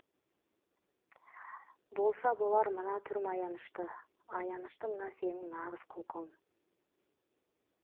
болса болар мына түрім аянышты аянышты мына сенің нағыз құлқың